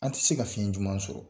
An ti se ka fiɲɛ juman sɔrɔ.